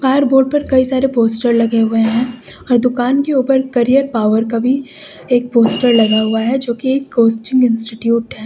हर board पर कई सारे पोस्टर लगे हुए हैं और दुकान के ऊपर करियर पावर का भी एक पोस्टर लगा हुआ है जो की एक कोचिंग इंस्टिट्यूट है।